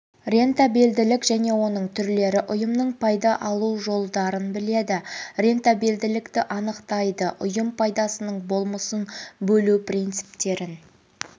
рентабелділік және оның түрлері ұйымның пайда алу жолдарын біледі рентабелділікті анықтайды ұйым пайдасының болмысын бөлу принциптерін